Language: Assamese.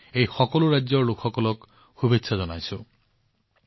মই এই সকলো ৰাজ্যৰ লোকসকলক শুভেচ্ছা জনাইছো